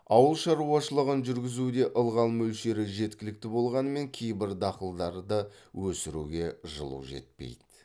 ауыл шаруашылығын жүргізуде ылғал мөлшері жеткілікті болғанымен кейбір дақылдарды өсіруге жылу жетпейді